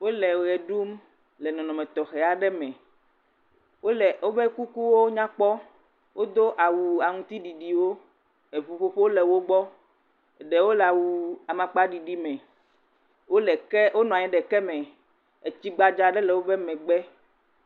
Wole ʋe ɖum le nɔnɔme tɔxɛ aɖe me. Wole, woƒe kukuwo nyakpɔ. Wodo awu aŋutiɖiɖiwo, eŋuƒoƒowo le wogbɔ. Ɖewo le awu amakpaɖiɖi me. Wole ke, wonɔ anyi ɖe keme. Etsi gbadzaa aɖe le woƒe megbe.